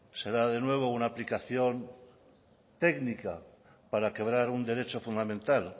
será de nueva una aplicación técnica para quebrar un derecho fundamental